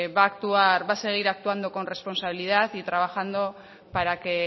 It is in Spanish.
va actuar va a seguir actuando con responsabilidad y trabajando para que